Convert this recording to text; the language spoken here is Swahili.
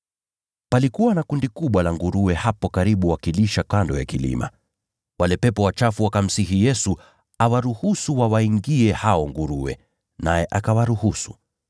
Palikuwa na kundi kubwa la nguruwe hapo likilisha kando ya kilima. Wale pepo wachafu wakamsihi Yesu awaruhusu wawaingie hao nguruwe, naye akawaruhusu.